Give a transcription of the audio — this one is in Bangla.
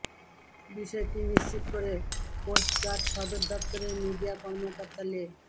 বিষয়টি নিশ্চিত করে কোস্টগার্ড সদর দফতরের মিডিয়া কর্মকর্তা লে